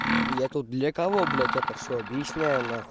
я тут для кого блядь это всё объясняю на хуй